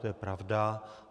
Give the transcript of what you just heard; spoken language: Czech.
To je pravda.